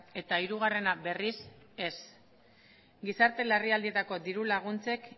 eta hirugarrena berriz ez gizarte larrialdietako diru laguntzek